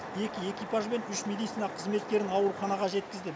екі экипаж бен үш медицина қызметкерін ауруханаға жеткіздік